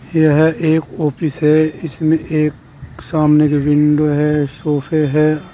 यह एक ऑफिस है। इसमें एक सामने की विंडो है। सोफे हैं।